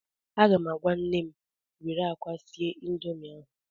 Aga m agwa nnem were akwa sie Indomi ahụ